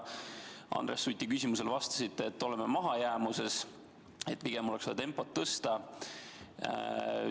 Andres Suti küsimusele te vastasite, et oleme mahajäämuses ja pigem oleks vaja tempot tõsta.